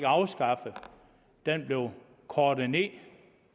afskaffet den blev kortet ned